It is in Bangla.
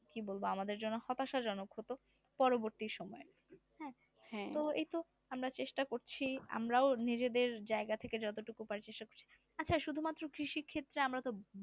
কি বলবো আমাদের জন্য হতাশা জনক হতো পরবর্তী সময় হ্যাঁ তো এইতো আমরা চেষ্টা করছি আমরাও নিজেদের জায়গা থেকে যতটুকু পারি চেষ্টা করছি আচ্ছা শুধুমাত্র কৃষি ক্ষেত্রে আমরা তো